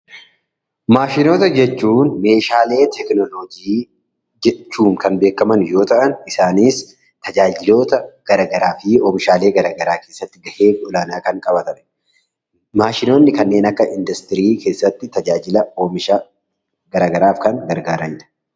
Maashinoota jechuun meeshaalee teekinooloojii jechuun kan beekaman yoo ta'an, Isaanis tajaajiloota garaagaraa fi oomishaalee garaagaraa keessatti gahee olaanaa kan qabaatanidha. Maashinoonni kanneen akka warshaa keessatti gargaaran oomisha garaagaraa kan oomishanidha.